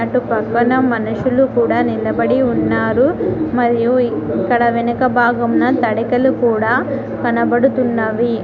ఇటు పక్కన మనుషులు కూడా నిలబడి ఉన్నారు మరియు ఇక్కడ వెనక భాగంన తడికలు కూడా కనబడుతున్నవి.